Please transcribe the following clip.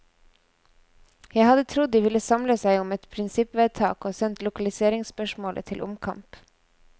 Jeg hadde trodd de ville samle seg om et prinsippvedtak og sendt lokaliseringsspørsmålet til omkamp.